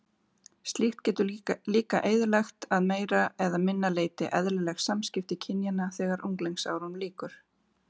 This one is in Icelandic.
Slíkt getur líka eyðilagt að meira eða minna leyti eðlileg samskipti kynjanna þegar unglingsárunum lýkur.